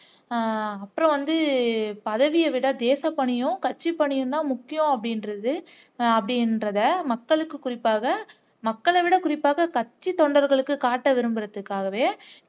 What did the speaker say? உம் அப்புறம் வந்து பதவியை விட தேசப்பணியும் கட்சிப்பணியும்தான் முக்கியம் அப்படின்றது அப்படின்றதை மக்களுக்கு குறிப்பாக மக்களைவிட குறிப்பாக கட்சித்தொண்டர்களுக்கு காட்ட விரும்புறதுக்காகவே